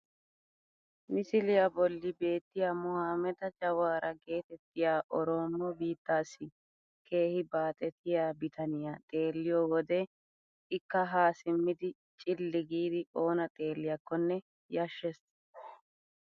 Misliyaa bolli beettiyaa mohaameda jawaara getettiyaa oroomo biittaassi keehi baaxettiyaa bitaniyaa xelliyoo wode ikka haa simmid ciilli giidi oonna xeelliyaakone yashshees!